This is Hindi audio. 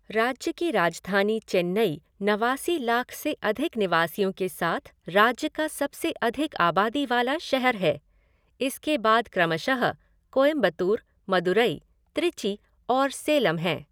राज्य की राजधानी चेन्नई नवासी लाख से अधिक निवासियों के साथ राज्य का सबसे अधिक आबादी वाला शहर है, इसके बाद क्रमशः कोयंबटूर, मदुराई, त्रिची और सेलम हैं।